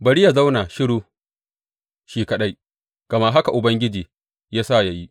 Bari yă zauna shiru shi kaɗai, gama haka Ubangiji ya sa yă yi.